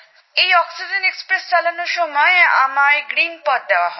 এই oxygen express চালানোর জন্য আমায় গ্রিনপাথ দেওয়া হয়